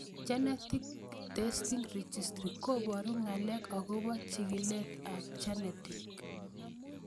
Genetic testing registry koparu ng'alek akopo chig'ilet ab genetic